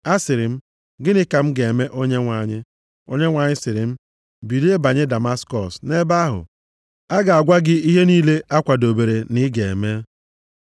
“Asịrị m, ‘Gịnị ka m ga-eme Onyenwe anyị?’ “Onyenwe anyị sịrị m, ‘Bilie banye Damaskọs; nʼebe ahụ a ga-agwa gị ihe niile a kwadobere na ị ga-eme.’